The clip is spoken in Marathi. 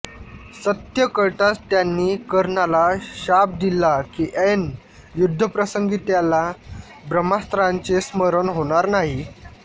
सत्य कळताच त्यांनी कर्णाला शाप दिला की ऐन युद्धप्रसंगी त्याला ब्रह्मास्त्राचे स्मरण होणार नाही